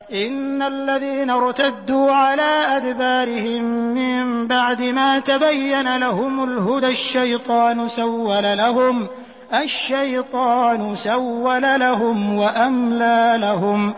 إِنَّ الَّذِينَ ارْتَدُّوا عَلَىٰ أَدْبَارِهِم مِّن بَعْدِ مَا تَبَيَّنَ لَهُمُ الْهُدَى ۙ الشَّيْطَانُ سَوَّلَ لَهُمْ وَأَمْلَىٰ لَهُمْ